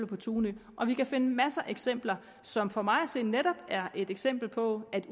på tunø og vi kan finde masser af eksempler på som for mig at se netop er et eksempel på at